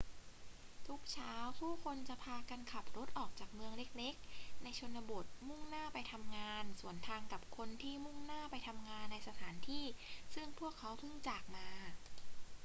ทุกเช้าผู้คนจะพากันขับรถออกจากเมืองเล็ก ๆ ในชนบทมุ่งหน้าไปทำงาน สวนทางกับคนที่มุ่งหน้าไปทำงานในสถานที่ซึ่งพวกเขาเพิ่งจากมา